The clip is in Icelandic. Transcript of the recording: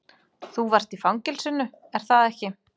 Þú varst í fangelsinu, er það ekki?